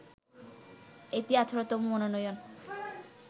এটি ১৮ তম মনোনয়ন